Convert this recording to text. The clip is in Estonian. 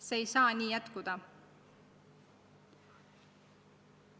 See ei saa nii jätkuda.